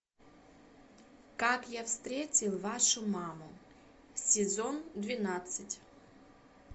как я встретил вашу маму сезон двенадцать